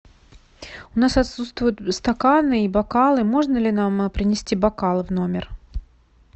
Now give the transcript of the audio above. у нас отсутствуют стаканы и бокалы можно ли нам принести бокалы в номер